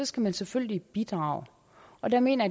skal man selvfølgelig bidrage og der mener